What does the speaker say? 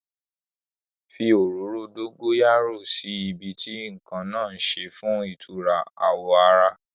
Fi òróró dógóyárò sí ibi tí nǹkan náà ṣe fún ìtura àwo ara